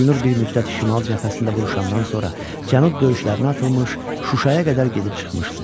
Elnur bir müddət Şimal cəbhəsində vuruşandan sonra Cənub döyüşlərinə atılmış, Şuşaya qədər gedib çıxmışdı.